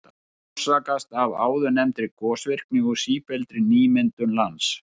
Það orsakast af áðurnefndri gosvirkni og sífelldri nýmyndun lands.